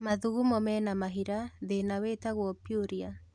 Mathugumo mena mahira thĩna wĩtagũo pyuria